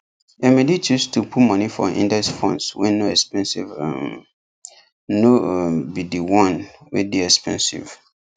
emily choose to put money for index funds wey no expensive um no um be the one wey dey expensive